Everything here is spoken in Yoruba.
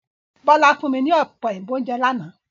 Bọ́lá fún mi ní Ọ̀pẹ òyìnbó lánàá